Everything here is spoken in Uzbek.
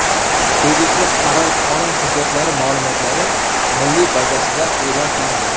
Tegishli qaror Qonun hujjatlari ma’lumotlari milliy bazasida e’lon qilindi .